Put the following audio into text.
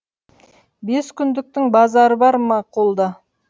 бес күндіктің базары бар ма қолда